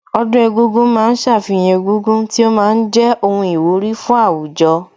Ọdún egúngún ma ń ṣàfihàn egúngún tí ó ma ń jẹ́ ohun ìwúrí fún àwùjọ